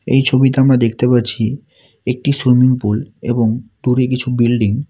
এই ছবিতে আমরা দেখতে পাচ্ছি একটি সুইমিং পুল এবং দূরে কিছু বিল্ডিং ।